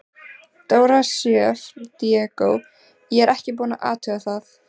Dóra Sjöfn Diego: Ég er ekkert búin að athuga það?